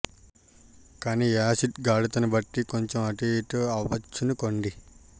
కానీ యాసిడ్ గాఢతను బట్టి కొంచెం అటూ ఇటూ అవ్వచ్చనుకోండి